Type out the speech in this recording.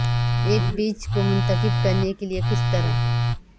ایک بیج کو منتخب کرنے کے لئے کس طرح